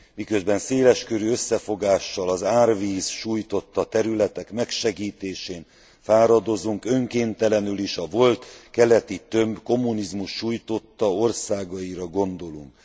Miközben széleskörű összefogással az árvíz sújtotta területek megsegítésén fáradozunk, önkéntelenül is a volt keleti tömb kommunizmus sújtotta országaira gondolunk.